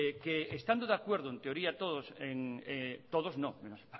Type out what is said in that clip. que estando de acuerdo en teoría todos todos no menos